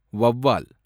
வௌவால்